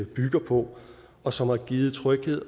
bygger på og som har givet tryghed